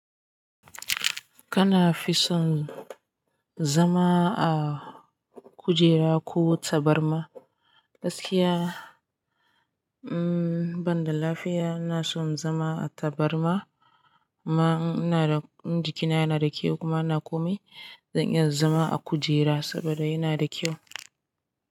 Kana fi son zama a kujera ko tabarma? Gaskiya, hmm banda lafiya, ina son zama a tabarma. Ma in ina da in jikina yana da kyau kuma ina komai, zan iya zama a kujera saboda yana da kyau.